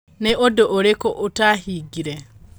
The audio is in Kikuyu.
Nĩ ũndũ ũrĩkũ ũtaahingire?